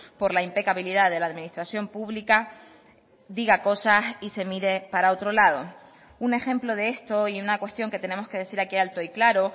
por la impecabilidad de la administración pública diga cosas y se mire para otro lado un ejemplo de esto y una cuestión que tenemos que decir aquí alto y claro